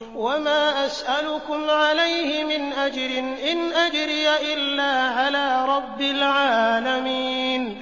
وَمَا أَسْأَلُكُمْ عَلَيْهِ مِنْ أَجْرٍ ۖ إِنْ أَجْرِيَ إِلَّا عَلَىٰ رَبِّ الْعَالَمِينَ